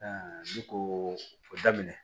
ne ko o daminɛ